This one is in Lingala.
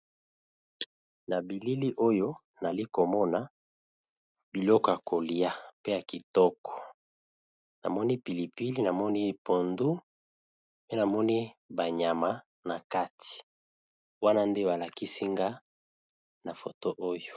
Na bilili oyo nali komona biloko ya kolia pe ya kitoko namoni pilipili , namoni mbisi na kati ya ndunda wana nde balakisi nga na foto oyo.